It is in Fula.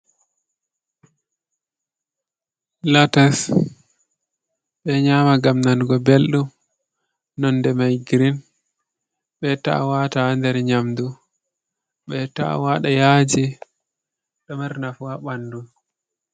Latas, ɓe nyama ngam nanugo belɗum. Nonde mai girin. Ɓe ta'a wata nder nyamdu. Ɓe ta'a waɗa yaaji, ɗo mari nafu ha ɓandu.